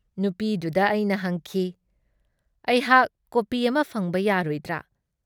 ꯅꯨꯨꯄꯤꯗꯨꯗ ꯑꯩꯅ ꯍꯪꯈꯤ- ꯑꯩꯍꯥꯛ ꯀꯣꯄꯤ ꯑꯃ ꯐꯪꯕ ꯌꯥꯔꯣꯏꯗ꯭ꯔ?"